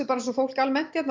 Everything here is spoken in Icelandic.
bara eins og fólk almennt hérna